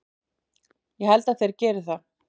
Ég held að þeir geri það.